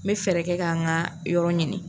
N bɛ fɛɛrɛ kɛ ka n ka yɔrɔ ɲini.